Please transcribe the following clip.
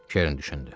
Keren düşündü.